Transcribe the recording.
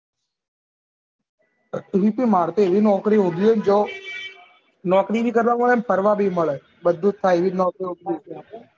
કેમ કે માર ત હેવી નોકરી હોધ્વીયે જો નોકરી ભી કરવા મળે અને ફરવા ભી મળે